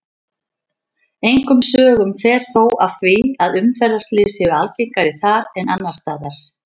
Engum sögum fer þó af því að umferðarslys séu algengari þar en annars staðar.